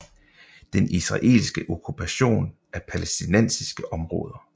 Den israelske okkupation af palæstinensiske områder